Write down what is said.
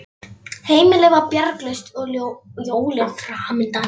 Heimilið var bjargarlaust og jólin framundan.